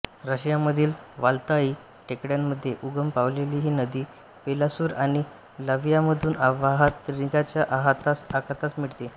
रशियामधील वाल्दाई टेकड्यांमध्ये उगम पावलेली ही नदी बेलारूस आणि लात्व्हियामधून वाहात रिगाच्या आखातास मिळते